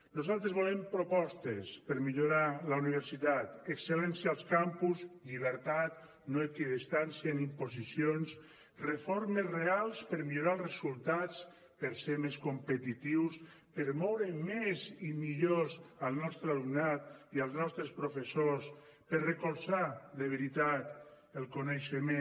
nosaltres volem propostes per millorar la universitat excel·lència als campus llibertat no equidistància ni imposicions reformes reals per millorar els resultats per ser més competitius per moure més i millor el nostre alumnat i els nostres professors per recolzar de veritat el coneixement